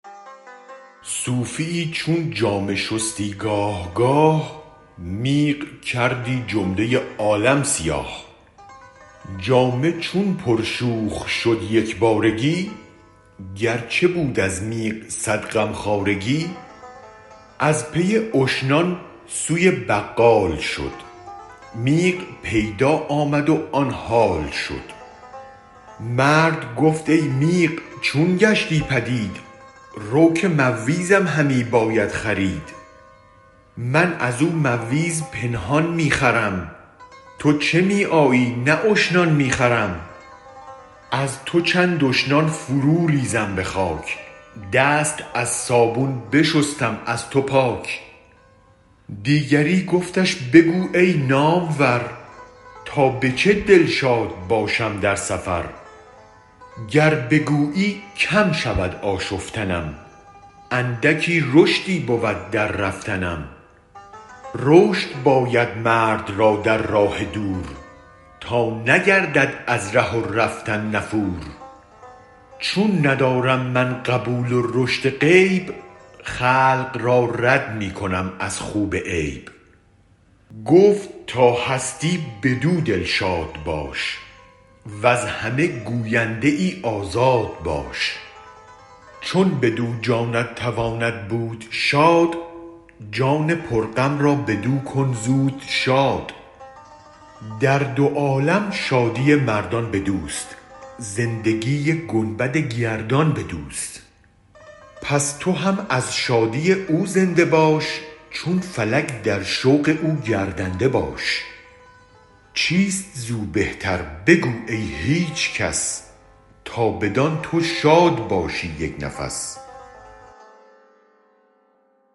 صوفیی چون جامه شستی گاه گاه میغ کردی جمله عالم سیاه جامه چون پر شوخ شد یک بارگی گرچه بود از میغ صد غم خوارگی از پی اشنان سوی بقال شد میغ پیدا آمد و آن حال شد مرد گفت ای میغ چون گشتی پدید رو که مویزم همی باید خرید من ازو مویز پنهان می خرم تو چه می آیی نه اشنان می خرم از تو چند اشنان فرو ریزم به خاک دست از صابون بشستم از تو پاک دیگری گفتش بگو ای نامور تا به چه دلشاد باشم در سفر گر بگویی کم شود آشفتنم اندکی رشدی بود در رفتنم رشد باید مرد را در راه دور تا نگردد از ره و رفتن نفور چون ندارم من قبول و رشد غیب خلق را رد می کنم از خو به عیب گفت تا هستی بدو دلشاد باش وز همه گوینده آزاد باش چون بدو جانت تواند بود شاد جان پر غم را بدوکن زود شاد در دو عالم شادی مردان بدوست زندگی گنبد گردان بدوست پس تو هم از شادی او زنده باش چون فلک در شوق او گردنده باش چیست زو بهتر بگو ای هیچ کس تا بدان تو شاد باشی یک نفس